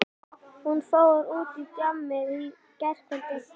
Já, hún fór út á djammið í gærkvöldi.